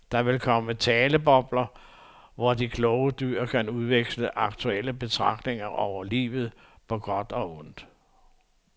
Derfor vil der komme talebobler, hvor de kloge dyr kan udveksle aktuelle betragtninger over livet på godt og ondt.